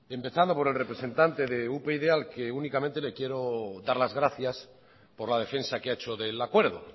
empezando por el representante de upyd al que únicamente le quiero dar las gracias por la defensa que ha hecho del acuerdo